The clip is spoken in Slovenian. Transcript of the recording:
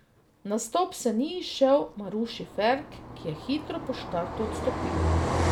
Nastop se ni izšel Maruši Ferk, ki je hitro po štartu odstopila.